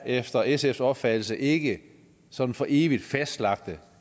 efter sfs opfattelse ikke sådan for evigt fastlagte